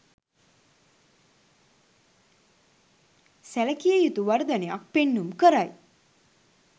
සැලකිය යුතු වර්ධනයක් පෙන්නුම් කරයි.